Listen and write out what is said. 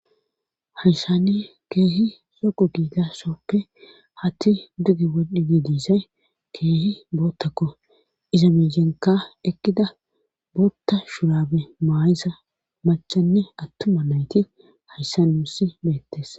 Hayshani keehi soqu giidassoppe hatti duge waddhidi diisay keehi boottakko izamisenka ekkida bootta shurabe maayisa machanne attuma nayti hayssa nuusi beettes.